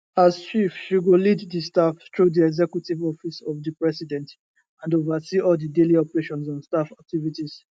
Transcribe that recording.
as chief she go lead di staff through di executive office of di president and oversee all di daily operations and staff activities